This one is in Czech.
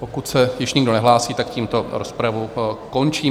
Pokud se již nikdo nehlásí, tak tímto rozpravu končím.